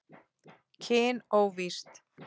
Kyn óvíst